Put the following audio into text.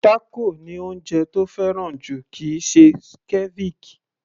Tákò ni oúnjẹ tó fẹ́ràn jù kìí ṣe ceviche